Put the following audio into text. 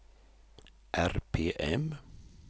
RPM